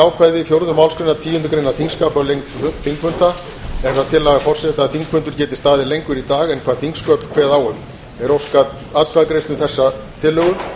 ákvæði fjórðu málsgreinar tíundu greinar þingskapa um lengd þingfunda er það tillaga forseta að þingfundur geti staðið lengur í dag en hvað þingsköp kveða á um er óskað atkvæðagreiðslu um þessa tillögu